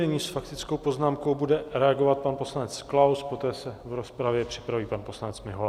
Nyní s faktickou poznámkou bude reagovat pan poslanec Klaus, poté se v rozpravě připraví pan poslanec Mihola.